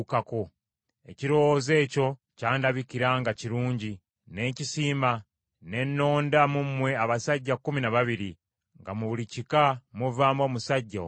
Ekirowoozo ekyo kyandabikira nga kirungi, ne nkisiima; ne nnonda mu mmwe abasajja kkumi na babiri; nga mu buli kika muvaamu omusajja omu omu.